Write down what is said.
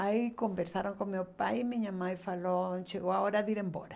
Aí conversaram com meu pai e minha mãe falou, chegou a hora de ir embora.